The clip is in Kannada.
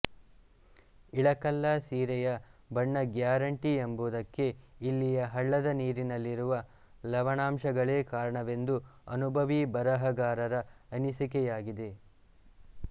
ಇಳಕಲ್ಲ ಸೀರೆಯ ಬಣ್ಣ ಗ್ಯಾರಂಟಿ ಎಂಬುದಕ್ಕೆ ಇಲ್ಲಿಯ ಹಳ್ಳದ ನೀರಿನಲ್ಲಿರುವ ಲವಣಾಂಶಗಳೆ ಕಾರಣವೆಂದು ಅನುಭವಿ ಬಣಗಾರರ ಅನಿಸಿಕೆಯಾಗಿದೆ